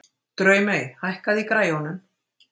Draumey, hækkaðu í græjunum.